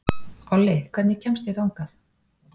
Olli, hvernig kemst ég þangað?